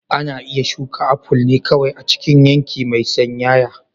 Ana iya shuka aful ne kawai a cikin yanki mai sanyaya.